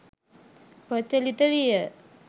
ප්‍රචලිත විය.